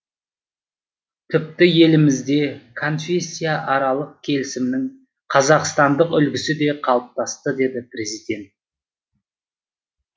тіпті елімізде конфессияаралық келісімнің қазақстандық үлгісі де қалыптасты деді президент